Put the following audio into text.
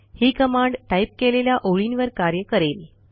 ही command type केलेल्या ओळींवर कार्य करेल